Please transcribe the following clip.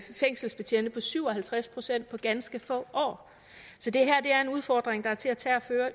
fængselsbetjente på syv og halvtreds procent på ganske få år så det her er en udfordring der er til at tage og